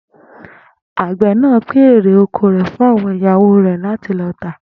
Àgbè̩ náà pín erè oko rè̩ fún àwo̩n ìyàwó rè̩ láti lo̩ tà